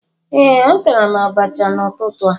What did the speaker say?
ee, atara m abacha n'ụtụtụ a